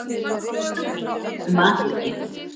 Hvað fannst Dagný um atvikið?